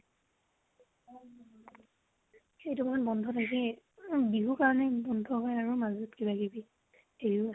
সেইটো মাহত বন্ধ থাকেই । উম বিহু কাৰণে বন্ধ হয় আৰু মাজত কিবা কিবি ।